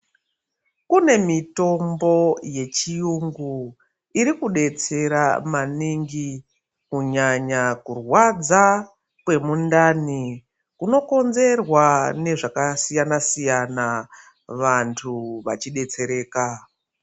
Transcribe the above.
Kune mitombo yechiyungu iri kubetsera maningi kunyanya kurwadza kwemundani. Kunokonzerwa nezvakasiyana-siyana vantu vachibetsereka.